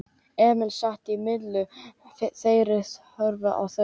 Emil sat á milli þeirra og horfði á þau.